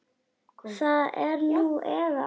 Það er nú eða aldrei.